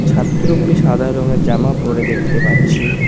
ছাত্রগুলি সাদা রংয়ের জামা পরে দেখতে পাচ্ছি।